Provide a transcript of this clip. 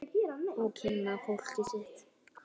Og kynna fólkið sitt.